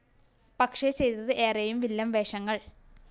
പക്ഷേ ചെയ്തത് ഏറെയും വില്ലന്‍ വേഷങ്ങള്‍